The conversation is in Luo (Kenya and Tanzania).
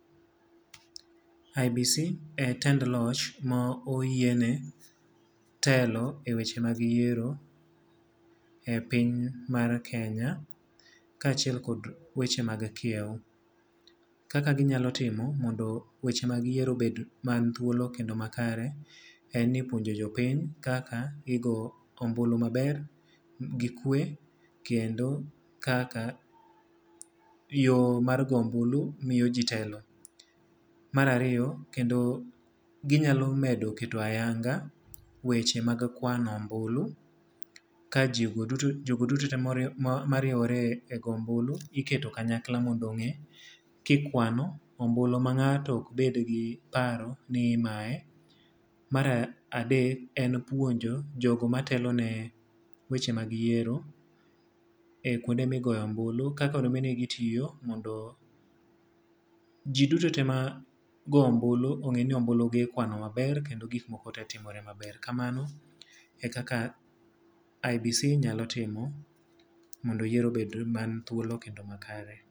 IEBC e tend loch ma oyiene telo e weche mag yiero e piny mar Kenya. Ka achiel kod weche mag kiew. Kaka ginyalo timo mondo weche mag yiero obed man thuolo kendo makare, en ni puonjo jopiny kaka gigo ombulu maber, gi kwe, kendo kaka yo mar goyo ombulu miyo ji telo. Mar ariyo kendo ginyalo medo keto ayanga weche mag kwano ombulu, ka jogo duto, jogo duto te mariewore e goyo ombulu iketo kanyakla mondo ongé ka ikwano ombulu ma ngáto ok bed gi paro ni imaye. Mar adek en puonjo jogo matelone weche mag yiero e kuonde migoye ombulu, kaka onego bed ni gitiyo mondo ji duto te ma goyo ombulu ongé ni ombulu gi ikwano maber, kendo gik moko te timore maber. Kamano e kaka IEBC nyalo timo mondo yiero obed mani thuolo kendo makare.